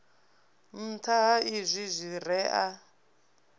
nṱha ha izwi zwire a